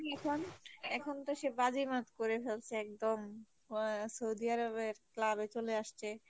এখন এখন তো সে বাজিমাত করে ফেলসে একদম আহ সৌদি আরবের club আসছে।